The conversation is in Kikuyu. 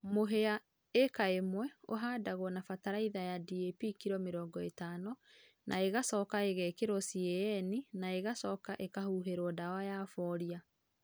mũhĩa ĩka ĩmwe ũhandagũo na bataraĩtha ya DAP kĩlo mĩrongo ĩtano na ĩgacoka ĩgekĩrũo CAN na ĩgacoka ĩkahũhĩrũo dawa ya bolĩa